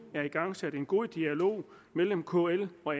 er igangsat en god dialog mellem kl og